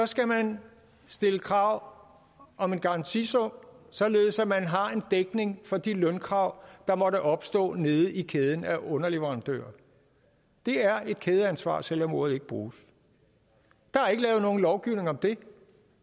skal man stille krav om en garantisum således at man har en dækning for de lønkrav der måtte opstå nede i kæden af underleverandører det er et kædeansvar selv om ordet ikke bruges der er ikke lavet nogen lovgivning om det